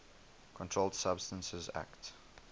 controlled substances acte